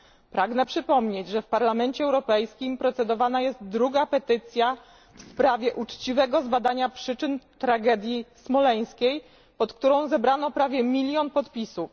Pragnę przypomnieć, że w Parlamencie Europejskim prowadzi się prace nad drugą petycją w sprawie uczciwego zbadania przyczyn tragedii smoleńskiej, pod którą zebrano prawie milion podpisów.